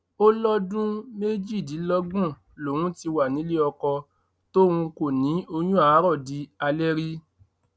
ó lọdún méjìdínlọgbọn lòún ti wà nílé ọkọ tóun kò ní oyún àárò di alẹ rí